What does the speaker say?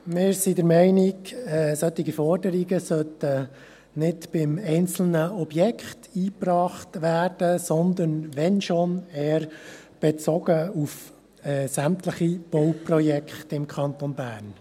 Wir sind der Meinung, dass solche Forderungen nicht beim einzelnen Objekt eingebracht werden, sondern wenn überhaupt eher bezogen auf sämtliche Bauprojekte im Kanton Bern.